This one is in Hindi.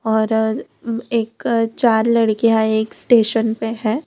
और एक चार लड़कियां एक स्टेशन पे है।